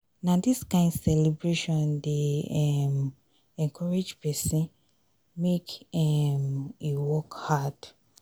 na dis kain celebration dey um encourage pesin make um e work hard.